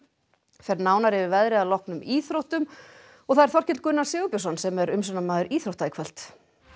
fer nánar yfir veðrið að loknum íþróttum og það er Þorkell Gunnar Sigurbjörnsson sem er umsjónarmaður íþrótta í kvöld